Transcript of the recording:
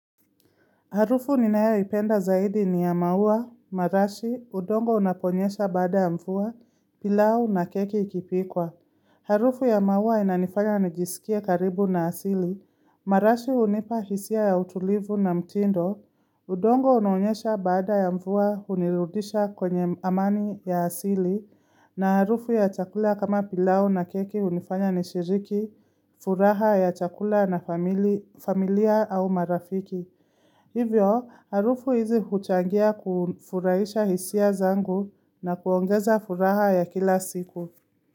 Harufu ninayoipenda zaidi ni ya maua, marashi, udongo unaponyesha baada ya mvua, pilau na keki ikipikwa. Harufu ya maua inanifanya nijisikie karibu na asili. Marashi hunipa hisia ya utulivu na mtindo. Udongo unaonyesha baada ya mvua, hunirudisha kwenye amani ya asili. Na harufu ya chakula kama pilau na keki hunifanya nishiriki, furaha ya chakula na familia au marafiki. Hivyo, harufu hizi huchangia kufurahisha hisia zangu na kuongeza furaha ya kila siku.